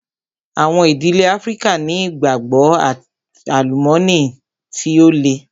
Àwọn ìdílé Áfríkà ni ìgbàgbọ́ and àlùmọ́nì tí ó le.